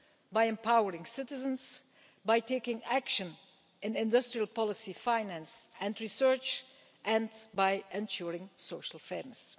by empowering citizens, by taking action in industrial policy finance and research, and by ensuring social fairness.